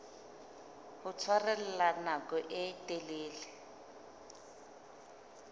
ho tshwarella nako e telele